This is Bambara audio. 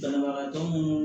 Banabagatɔ minnu